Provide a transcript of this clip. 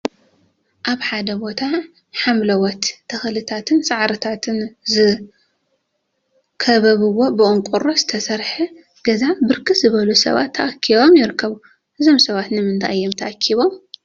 አብ ሓደ ቦታ ሐምለዎት ተክሊታትን ሳዕሪታትን ዝከበብዎ ብቆርቆሮ ዝተሰርሐ ገዛ ብርክት ዝበሉ ሰባት ተአኪቦም ይርከቡ፡፡ እዞም ሰባት ንምንታይ እዮም ተአኪቦም?